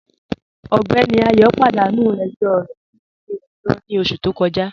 Ọgbẹ́ní Ayọ̀ padanu ẹ̀jọ rẹ̀ ni ilẹ̀-ẹ̀jọ̀ ni oṣù tó kọja.